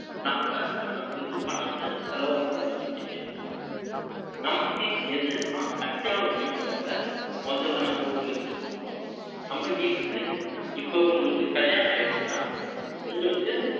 நம்ம, கண்ணை மூடிட்டு, பணத்தை, செலவு பண்றதைப் பத்தி, பேசலாம். நமக்கு எது எது எல்லாம் அத்தியாவசியங்கிறதை, முதல்ல நம்ம ஒரு list போடணும். நம்ம வீட்டுக்கு, இப்ப உங்களுக்கு கல்யாணம் ஆயிடுச்சுன்னா, உங்களுக்கு,